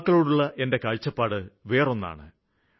യുവാക്കളോടുള്ള എന്റെ കാഴ്ചപ്പാട് വേറൊന്നാണ്